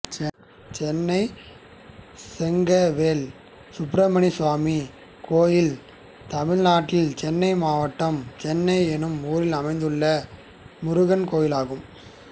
சென்னை சொக்கவேல் சுப்பிரமணிய சுவாமி கோயில் தமிழ்நாட்டில் சென்னை மாவட்டம் சென்னை என்னும் ஊரில் அமைந்துள்ள முருகன் கோயிலாகும்